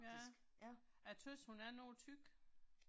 Ja. Jeg tøvs hun er noget tyk